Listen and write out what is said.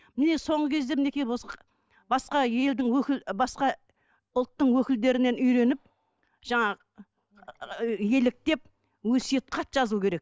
міне соңғы кезде мінекей басқа елдің өкіл басқа ұлттың өкілдерінен үйреніп жаңағы еліктеп өсиет хат жазу керек